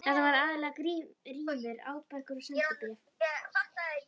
Þetta voru aðallega rímur, árbækur og sendibréf.